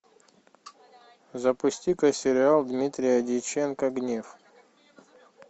запусти ка сериал дмитрия дьяченко гнев